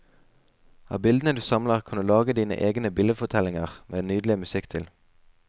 Av bildene du samler kan du lage dine egne bildefortellinger, med nydelig musikk til.